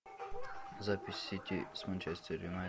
запись сити с манчестер юнайтед